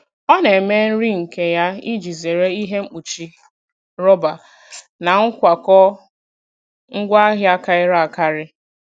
Ọ na-eme nri nke ya iji zere ihe mkpuchi rọba na nkwakọ ngwaahịa karịrị akarị.